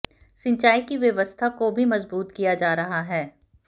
सिंचाई की व्यवस्था को भी मजबूत किया जा रहा है